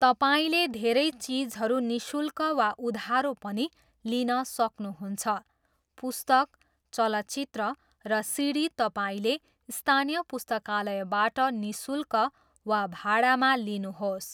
तपाईँले धेरै चिजहरू निशुल्क वा उधारो पनि लिन सक्नुहुन्छ, पुस्तक, चलचित्र, र सिडी तपाईँको स्थानीय पुस्तकालयबाट निःशुल्क वा भाडामा लिनुहोस्!